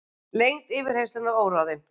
Lengd yfirheyrslunnar óráðin